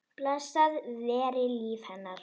Blessað veri líf hennar.